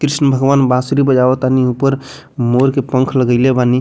कृष्ण भगवान बांसुरी बजावत तानी ऊपर मोर के पंख लगइले बानी।